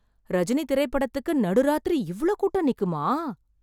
ரஜினி திரைப்படத்துக்கு நடு ராத்திரி இவ்ளோ கூட்டம் நிக்குமா?